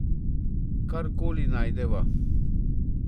Kar koli najdeva.